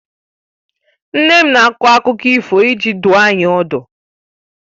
Nne m na - akọ akụkọ ifo iji dùọ anyị ọdu